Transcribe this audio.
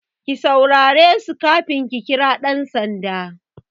Ki saurare su kafin ki kira ɗan sanda!